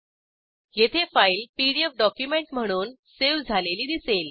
येथे file PDF document म्हणून save झालेली दिसेल